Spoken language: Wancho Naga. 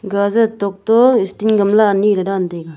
gajer tok toh steel gamla anyi le dan taega.